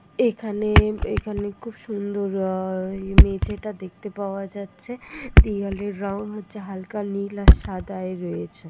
এখানে এখানে খুব সুন্দর আহ ইমেজ এটা দেখতে পাওয়া যাচ্ছে | দেওয়ালের রং হচ্ছে হালকা নীল আর সাদা এ রয়েছে।